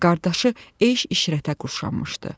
Qardaşı eyş-işrətə quşanmışdı.